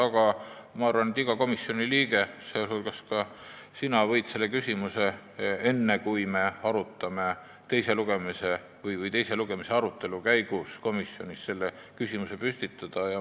Aga ma arvan, et iga komisjoni liige, sh ka sina, võib selle küsimuse teise lugemise arutelu käigus komisjonis püstitada.